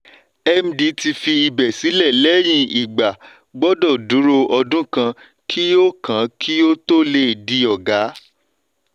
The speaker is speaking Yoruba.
md tí fi ibè sílè lẹ́yìn igba gbọ́dọ̀ dúró ọdún kan kí ó kan kí ó tó lè di ọ̀gá.